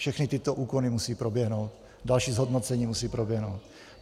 Všechny tyto úkony musí proběhnout, další zhodnocení musí proběhnout.